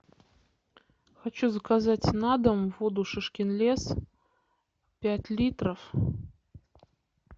хочу заказать на дом воду шишкин лес пять литров